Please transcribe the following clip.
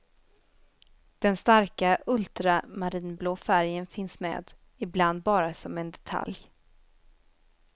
Den starka ultramarinblå färgen finns med, ibland bara som en detalj.